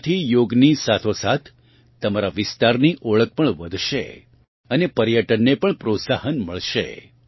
તેનાથી યોગની સાથોસાથ તમારાં વિસ્તારની ઓળખ પણ વધશે અને પર્યટનને પણ પ્રોત્સાહન મળશે